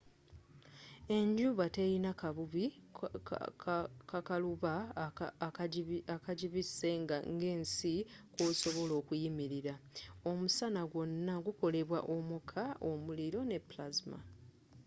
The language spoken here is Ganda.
enjuba telina kabubi kakaluba akagibise nga ensi kwosobola okuyimirila omusana gwona gwakolebwa omuka omuliro ne plasma